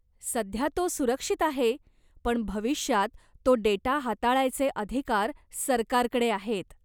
सध्या तो सुरक्षित आहे, पण भविष्यात तो डेटा हाताळायचे अधिकार सरकारकडे आहेत.